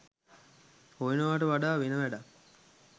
හොයනවාට වඩා වෙන වැඩක්